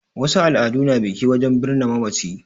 Wasu al'adu na biki wajen birni mamaci